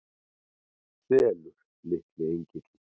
Sefur litli engillinn?